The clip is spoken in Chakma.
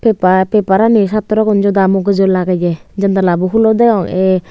paper paperani satrogun joda muguju lageye jandala bo hulo degong ah.